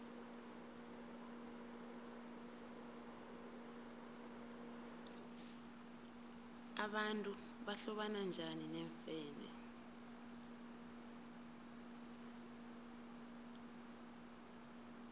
abantu bahlobana bunjani neemfene